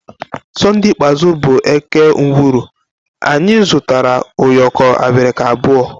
Sonde ikpeazụ bụ eke ngwuru anyị zụtara ụyọkọ abirika abụọ